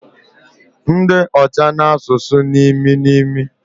Ndi ocha na asusu nimi nimi